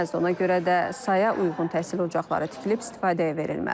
ona görə də saya uyğun təhsil ocaqları tikilib istifadəyə verilməlidir.